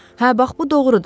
Hə, bax bu doğrudur.